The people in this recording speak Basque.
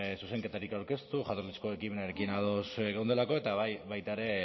zuzenketarik aurkeztu jatorrizko ekimenarekin ados geundelako eta baita ere